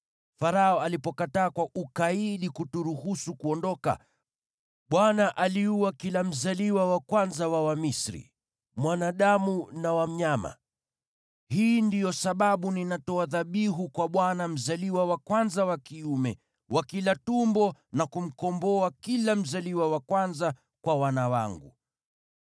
Farao alipokataa kwa ukaidi kuturuhusu kuondoka, Bwana aliua kila mzaliwa wa kwanza wa Wamisri, mwanadamu na wa mnyama. Hii ndiyo sababu ninatoa dhabihu kwa Bwana mzaliwa wa kwanza wa kiume, wa kila tumbo na kumkomboa kila mzaliwa wa kwanza wa wana wangu.’